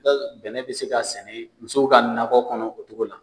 bɛnɛ bɛ se ka sɛnɛ musow ka nakɔ kɔnɔ o cogo la.